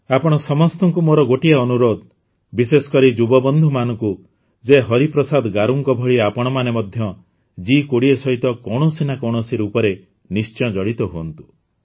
ଆପଣ ସମସ୍ତଙ୍କୁ ମୋର ଆଉ ଗୋଟିଏ ଅନୁରୋଧ ବିଶେଷକରି ଯୁବବନ୍ଧୁମାନଙ୍କୁ ଯେ ହରିପ୍ରସାଦ ଗାରୁଙ୍କ ଭଳି ଆପଣମାନେ ମଧ୍ୟ ଜି୨୦ ସହିତ କୌଣସି ନା କୌଣସି ରୂପରେ ନିଶ୍ଚୟ ଜଡ଼ିତ ହୁଅନ୍ତୁ